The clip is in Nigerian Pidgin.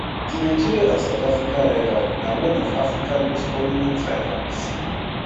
di nigeria and south africa rivalry na one of africa most prominent rivalries